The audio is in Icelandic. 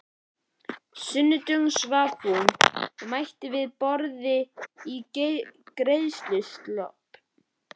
sunnudögum svaf hún út og mætti við borðið í greiðsluslopp.